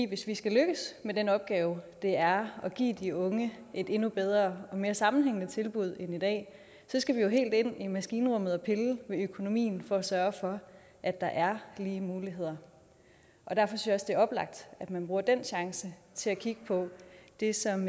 hvis vi skal lykkes med den opgave det er at give de unge et endnu bedre og mere sammenhængende tilbud end i dag så skal vi jo helt ind i maskinrummet og pille ved økonomien for at sørge for at der er lige muligheder derfor synes det er oplagt at man bruger den chance til at kigge på det som